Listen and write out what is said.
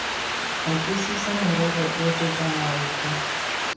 batlisisa morero ofe kana ofe